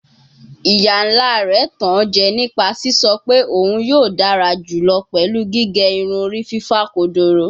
Iya-nla rẹ tan o jẹ nipa sisọ pe oun yoo dara julọ pẹlu gige irun ori fifa kodoro